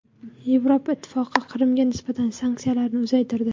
Yevropa Ittifoqi Qrimga nisbatan sanksiyalarni uzaytirdi.